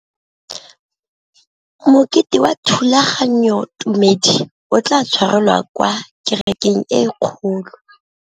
Mokete wa thulaganyôtumêdi o tla tshwarelwa kwa kerekeng e kgolo.